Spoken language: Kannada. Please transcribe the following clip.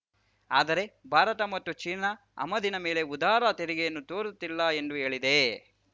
ಆದರೆ ಭಾರತ ಮಾತ್ರ ಚೀನಾ ಆಮದಿನ ಮೇಲೆ ಉದಾರ ತೆರಿಗೆಯನ್ನು ತೋರುತ್ತಿಲ್ಲ ಎಂದೂ ಹೇಳಿದೆ